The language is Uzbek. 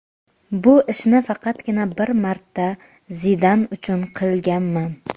Bu ishni faqatgina bir marta Zidan uchun qilganman.